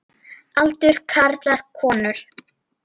Aldur karlar konur